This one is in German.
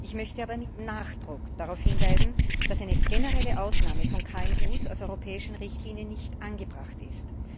Ich möchte aber mit Nachdruck darauf hinweisen, dass eine generelle Ausnahme von KMU aus europäischen Richtlinien nicht angebracht ist.